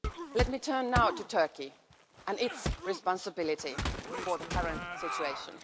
Let me turn now to Turkey and its responsibility for the current situation.